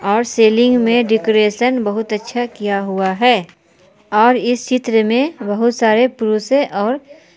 और सेलिंग में डेकोरेशन बहुत अच्छा किया हुआ है और इस चित्र में बहुत सारे पुरुषें और--